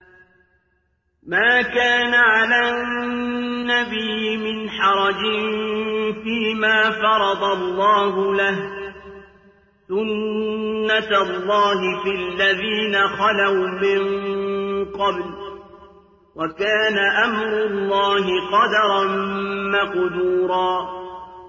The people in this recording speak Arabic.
مَّا كَانَ عَلَى النَّبِيِّ مِنْ حَرَجٍ فِيمَا فَرَضَ اللَّهُ لَهُ ۖ سُنَّةَ اللَّهِ فِي الَّذِينَ خَلَوْا مِن قَبْلُ ۚ وَكَانَ أَمْرُ اللَّهِ قَدَرًا مَّقْدُورًا